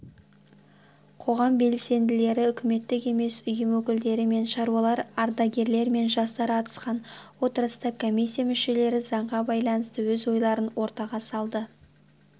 қоғам белсенділері үкіметтік емес ұйым өкілдері мен шаруалар ардагерлер мен жастар қатысқан отырыста комиссия мүшелері заңға байланысты өз ойларын ортаға салды